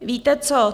Víte co?